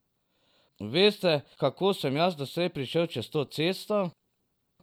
Veste, kako sem jaz doslej prišel čez to cesto?